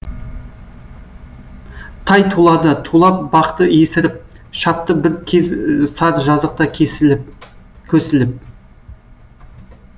тай тулады тулап бақты есіріп шапты бір кез сар жазықта көсіліп